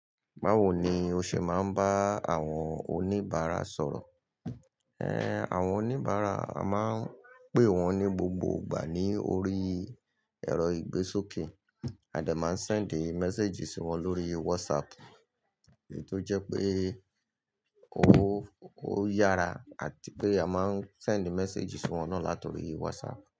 Báwo ni o ṣe máa ń bá àwọn oníbàárà sọ̀rọ̀? Àwọn oníbàárà a máa ń pé wọ́n ní gbogbo ìgbà ní orí ẹ̀rọ ìgbésókè adẹ̀ máa ń send message sí wọn lórí WhatsApp èyii to jẹ́ pé ó, ó yára àti pé a máa ń send message sí wọn náà látọrí WhatsApp.